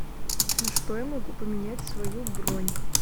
на что я могу поменять свою бронь